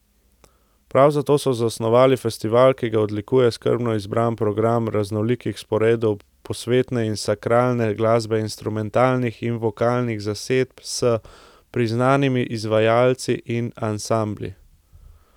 Prav zato so zasnovali festival, ki ga odlikuje skrbno izbran program raznolikih sporedov posvetne in sakralne glasbe instrumentalnih in vokalnih zasedb s priznanimi izvajalci in ansambli.